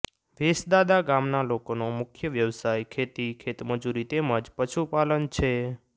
વેસદાદા ગામના લોકોનો મુખ્ય વ્યવસાય ખેતી ખેતમજૂરી તેમ જ પશુપાલન છે